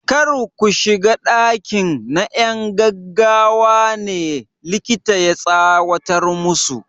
Kar ku shiga ɗakin! na 'yan gaggawa ne, likita ya tsawatar musu.